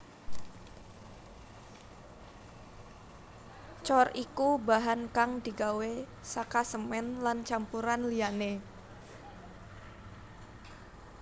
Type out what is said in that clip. Cor iku bahan kang digawé saka semèn lan campuran liyané